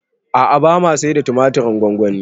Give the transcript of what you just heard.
A'a bama saida tumatirin gwangwani